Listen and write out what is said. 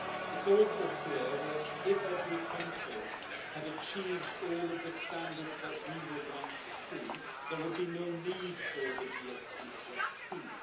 It is also clear that if every country had achieved all of the standards that we would like to see, there would be no need for the GSP scheme.